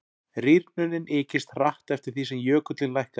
rýrnunin ykist hratt eftir því sem jökullinn lækkaði